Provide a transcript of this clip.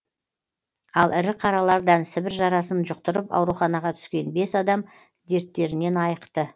ал ірі қаралардан сібір жарасын жұқтырып ауруханаға түскен бес адам дерттерінен айықты